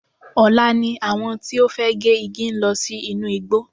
Ọ̀la ni àwọn tí ó fẹ́ gé igi ń lọ sí inú igbó.